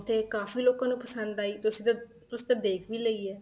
ਉੱਥੇ ਕਾਫ਼ੀ ਲੋਕਾਂ ਨੂੰ ਪਸੰਦ ਆਈ ਤੁਸੀਂ ਤਾਂ ਤੁਸੀਂ ਤਾਂ ਦੇਖ ਵੀ ਲਈ ਹੈ